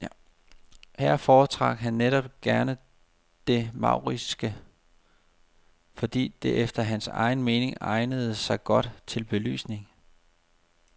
Her foretrak han netop gerne det mauriske, fordi det efter hans egen mening egnede sig godt til belysning.